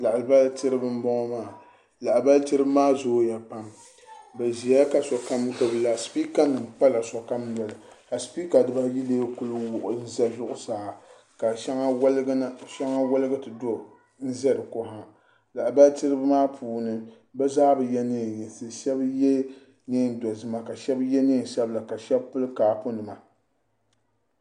lahabali tiribi n bɔŋɔ maa lahabali tiribi maa zooya pam bi ʒiya ka sokam gbubila spiika nima ka spiika dibayi mii kuli wuɣi ʒɛ zuɣusaa ka shɛŋa woligi ti ʒɛ di ko ha lahabali tiribi maa puuni bi zaa bi yɛ neen yinsi shab yɛ neen dozima ka shab yɛ neen sabila ka shab pili kaapu nima